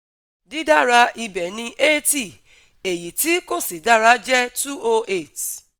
Didara ibe ni eighty, eyi ti ko si dara je two o eight